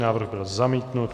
Návrh byl zamítnut.